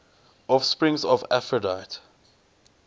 offspring of aphrodite